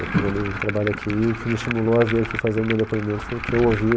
Eu tenho uma amiga que trabalha aqui e o que me estimulou a vir aqui fazer o meu depoimento foi o que eu ouvi.